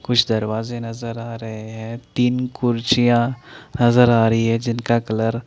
कुछ दरवाज़े नज़र आ रहे हैं तिन कुर्सियाँ नज़र आ रही है जिनका कलर --